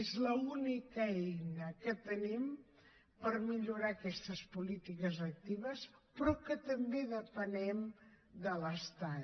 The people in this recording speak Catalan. és l’única eina que tenim per millorar aquestes polítiques actives però també depenem de l’estat